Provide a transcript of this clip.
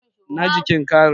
na jikin carin